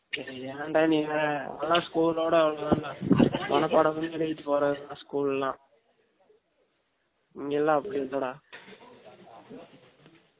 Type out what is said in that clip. டெய் ஏன் டா னீ வேர அதுலாம் school ஒட அவலோ தான டா மனபாடம பன்னி எலுதிட்டு போரது தான் school ல எல்லாம், இங்கலாம் அப்டி இல்ல டா